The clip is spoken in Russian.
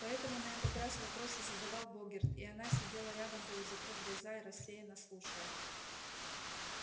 поэтому на этот раз вопросы задавал богерт и она сидела рядом полузакрыв глаза и рассеянно слушая